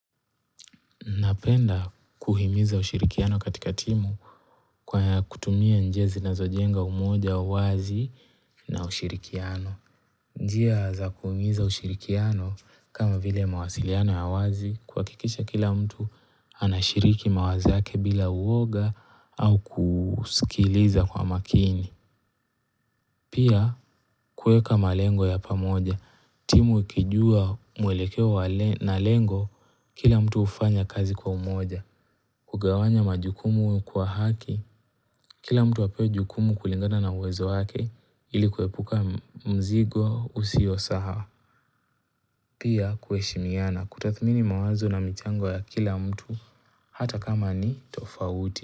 Napenda kuhimiza ushirikiano katika timu kwa kutumia njia zinazojenga umoja, uwazi na ushirikiano. Njia za kuhimiza ushirikiano kama vile mawasiliano ya wazi kuhakikisha kila mtu anashiriki mawazo yake bila uoga au kusikiliza kwa makini. Pia kueka malengo ya pamoja. Timu ikijua mwelekeo na lengo kila mtu hufanya kazi kwa umoja. Kugawanya majukumu kwa haki, kila mtu apewe jukumu kulingana na uwezo wake ilikuepuka mzigo husio sawa. Pia kuheshimiana kutathmini mawazo na michango ya kila mtu hata kama ni tofauti.